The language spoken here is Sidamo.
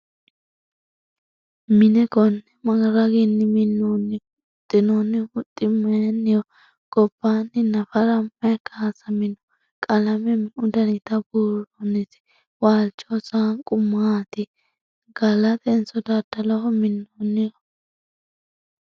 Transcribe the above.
Minne konne ma raginni minnoonni ? Huxinoonni huxxi mayiinnoho? Gobbanni naffara mayi kaasamminno? Qalame meu dannitta buuroonnissi? waalichoho saanqu maatti? Galattenso dadalloho minoonnoho ?